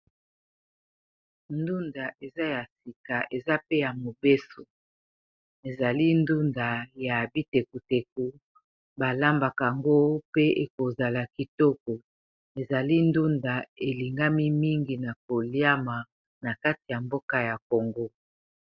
ndunda eza ya sika eza pe ya mobeso ezali ndunda ya abitekuteko balambaka ango pe ekozala kitoko ezali ndunda elingami mingi na koliama na kati ya mboka ya kongo